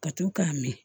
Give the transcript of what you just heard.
Ka to k'a min